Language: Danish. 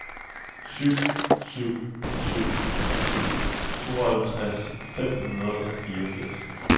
syv syv syv syv tooghalvtreds fem hundrede og fireogfirs